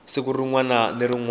siku rin wana ni rin